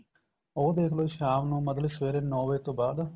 ਉਹ ਦੇਖਲੋ ਸ਼ਾਮ ਨੂੰ ਮਤਲਬ ਸਵਰੇ ਨੋ ਵਜੇ ਤੋਂ ਬਾਅਦ